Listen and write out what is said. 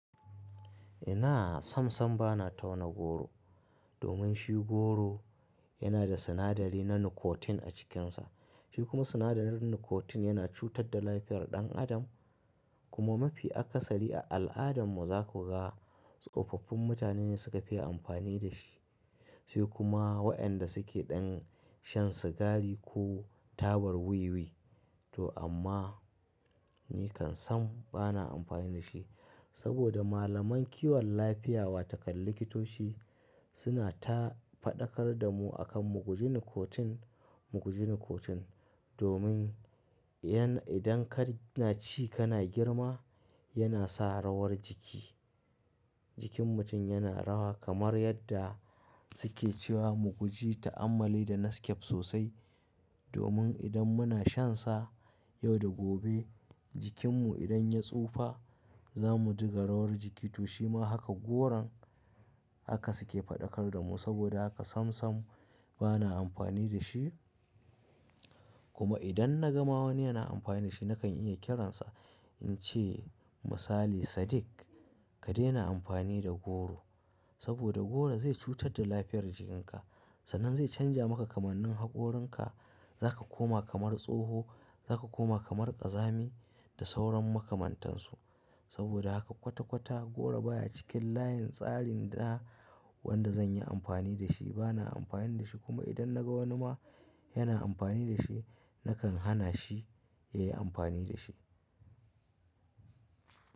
Ina sam sam bana tauna goro domin shi goro yana da sinadari na nicotine a cikinsa. Shi kuma sinadarin nicotine yana cutar da lafiyar ɗan adam kuma mafi akasari a al'adarmu za ku ga tsofaffin mutane ne suka fi amfani da shi. Sai kuma waɗanda suke ɗan shan sigari ko tabar wiwi. To amma ni kan sam bana amfani da shi saboda malaman kiwon lafiya wataƙal likitoci suna ta faɗakar da mu akan mu guji nicotine, mu guji nicotine domin yana idan ka na ci kana girma yana sa rawar jiki. Jikin mutum yana rawa kamar yadda suke cewa mu guji ta'ammali da naskef sosai domin idan muna shan sa yau da gobe jikinmu idan ya tsufa za mu diga rawar jiki. To shima haka goron haka suke faɗakar da mu. Saboda haka sam sam bana amfani da shi. Kuma idan na ga ma wani yana amfani da shi nakan iya kiransa in ce misali “Sadiq ka daina amfani da goro saboda goro zai cutar da lafiyar jikinka.” Sannan zai canja maka kamannin haƙorinka. Za ka koma kamar tsoho, za ka koma kamar ƙazami da sauran makamantansu. Saboda haka kwata kwata goro baya cikin layin tsarin da wanda zan yi amfani da shi. Bana amfani da shi kuma idan na ga wani ma yana amfani da shi nakan hana shi ya yi amfani da shi.